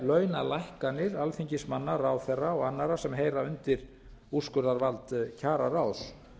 launalækkanir alþingismanna ráðherra og annarra sem heyra undir úrskurðarvald kjararáðs